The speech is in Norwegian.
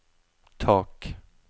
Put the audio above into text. tak